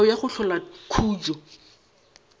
melao ya go hlola khutšo